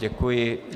Děkuji.